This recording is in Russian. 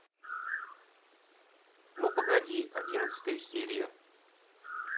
ну погоди одиннадцатая серия